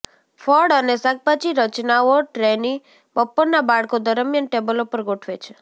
ફળ અને શાકભાજી રચનાઓ ટ્રેની બપોરના બાળકો દરમિયાન ટેબલો પર ગોઠવે છે